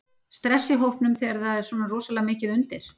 Stress í hópnum þegar það er svona rosalega mikið undir?